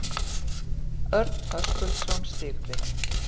Örn Höskuldsson stýrði.